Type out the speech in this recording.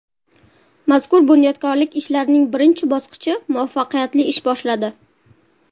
Mazkur bunyodkorlik ishlarining birinchi bosqichi muvaffaqiyatli ish boshladi.